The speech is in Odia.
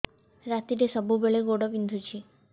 ରାତିରେ ସବୁବେଳେ ଗୋଡ ବିନ୍ଧୁଛି